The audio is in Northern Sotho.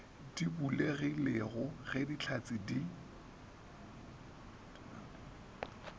di bulegilego ge dihlatse di